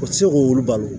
O tɛ se k'olu balo